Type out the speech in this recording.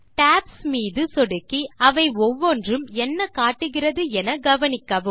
tops மீது சொடுக்கி அவை ஒவ்வொன்றும் என்ன காட்டுகிறது என கவனிக்கவும்